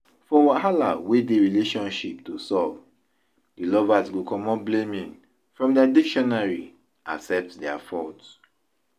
For wahala wey dey relationship to solve, di lovers go comot blaiming from their dictionary accept their fault